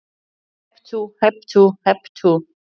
Hep tú, hep tú, hep tú.